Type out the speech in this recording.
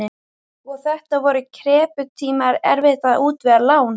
Og þetta voru krepputímar, erfitt að útvega lán.